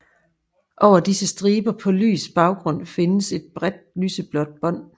Over disse striber på lys baggrund findes et bredt lyseblåt bånd